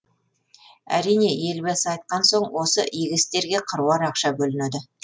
әрине елбасы айтқан соң осы игі істерге қыруар ақша бөлінеді